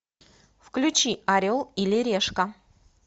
включи орел или решка